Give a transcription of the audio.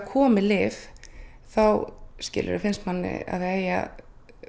komið lyf þá finnst manni að það eigi að